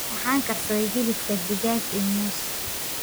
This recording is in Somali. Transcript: Waxaan karsaday hiliibka digaag iyo muus.